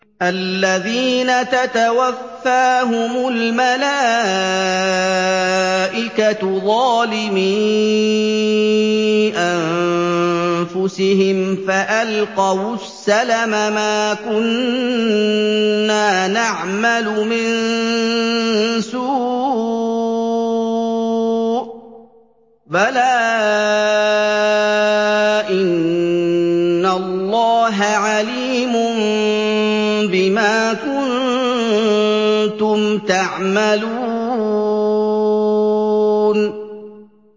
الَّذِينَ تَتَوَفَّاهُمُ الْمَلَائِكَةُ ظَالِمِي أَنفُسِهِمْ ۖ فَأَلْقَوُا السَّلَمَ مَا كُنَّا نَعْمَلُ مِن سُوءٍ ۚ بَلَىٰ إِنَّ اللَّهَ عَلِيمٌ بِمَا كُنتُمْ تَعْمَلُونَ